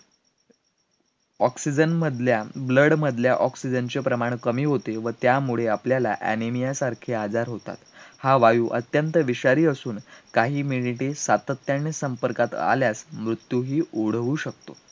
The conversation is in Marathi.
oxygen मधल्या blood मधल्या oxygen चे प्रमाण कमी होते, व त्यामुळे आपल्याला anemia सारखे आजार होतात, हा वायू अत्यंत विषारी असून काही मिनिटे सातत्याने संपर्कात आल्यास मृत्यूही ओढवू शकतो